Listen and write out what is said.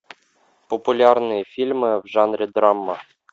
популярные фильмы в жанре драма